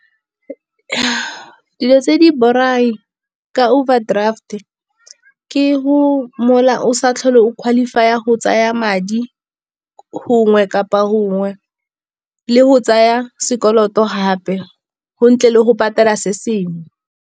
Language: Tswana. Dilo tse di borai ka overdraft ke go o sa tlhole o qualify-a go tsaya madi gongwe kapa gongwe, le go tsaya sekoloto gape go ntle le go patela se sengwe.